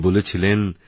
তিনিবলেছিলেন